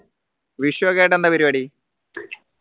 വിഷു ഒക്കെ ആയിട്ട് എന്താ പരിപാടി